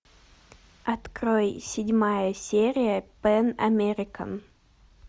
открой седьмая серия пэн американ